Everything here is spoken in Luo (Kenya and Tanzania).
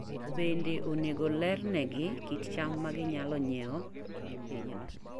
Bende onego olernegi kit cham ma ginyalo ng'iewo e pinyno.